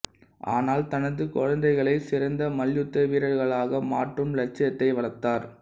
ஆனால் தனது குழந்தைகளை சிறந்த மல்யுத்த வீரர்களாக மாற்றும் லட்சியத்தை வளர்த்தார்